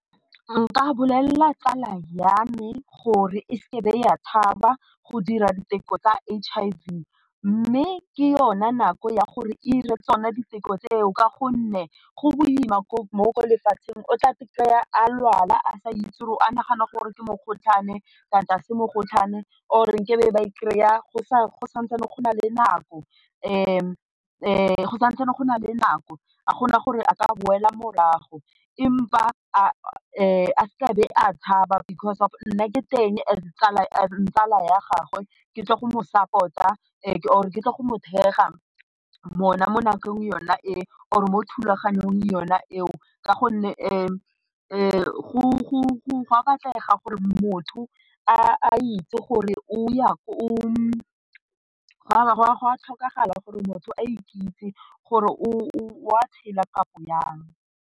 Nka bolelela tsala ya me gore e se ke ya tshaba go dira diteko tsa H_I_V mme ke yone nako ya gore dire tsone diteko tseo ka gonne go boima mo lefatsheng o tla fitlhela a lwala a sa itse gore a nagana gore ke mogotlhwane kante ga se mogotlhwane or ke be ba e kry-a go sa go sa ntsane go na le nako a kgona gore a ka boela morago empa a se ke a be a tshaba because of nna ke teng as tsala ya gagwe ke tle go mo support-a or ke tla go mo thekga mo na mo nakong yona e or mo thulaganyong yona eo, ka gonne go a batlega gore motho a itse gore o ya ko ya ko, go a tlhokagala gore motho a ikitse gore o a tshella kapo jang.